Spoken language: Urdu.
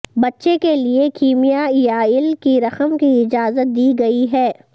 بچے کے لئے کیمیائیائل کی رقم کی اجازت دی گئی ہے